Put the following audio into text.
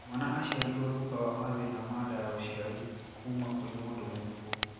Mwana aciarirwo thutha wa mathina ma nda ya ũciari kuma kwĩ mũndũ mũkuũ